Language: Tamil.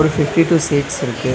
ஒரு ஃபிஃப்டி டூ சீட்ஸ் இருக்கு.